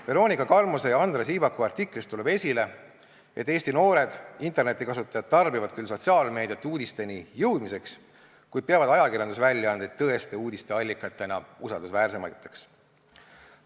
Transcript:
Veronika Kalmuse ja Andra Siibaku artiklist tuleb esile, et Eesti noored internetikasutajad tarbivad küll sotsiaalmeediat uudisteni jõudmiseks, kuid peavad ajakirjandusväljaandeid tõeste uudiste allikatena usaldusväärsemaks.